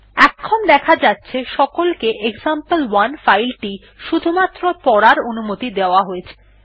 এখন দেখা যাচ্ছে সকলকে এক্সাম্পল1 ফাইল টি শুধুমাত্র পড়ার অনুমতি দেওয়া হয়েছে